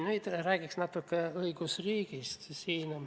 Nüüd räägiks natuke õigusriigist.